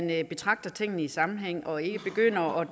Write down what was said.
man betragter tingene i sammenhæng og ikke begynder og